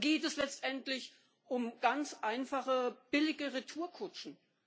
Oder geht es letztendlich um ganz einfache billige Retourkutschen?